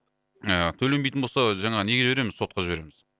ы төленбейтін болса жаңағы неге береміз сотқа жібереміз